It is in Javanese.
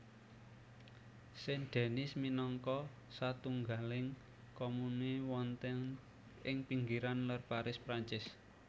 Saint Denis minangka satunggaling komune wonten ing pinggiran lèr Paris Perancis